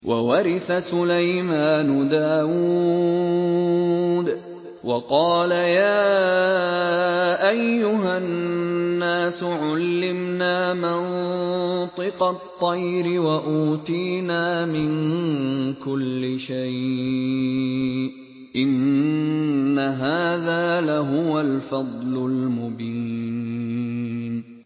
وَوَرِثَ سُلَيْمَانُ دَاوُودَ ۖ وَقَالَ يَا أَيُّهَا النَّاسُ عُلِّمْنَا مَنطِقَ الطَّيْرِ وَأُوتِينَا مِن كُلِّ شَيْءٍ ۖ إِنَّ هَٰذَا لَهُوَ الْفَضْلُ الْمُبِينُ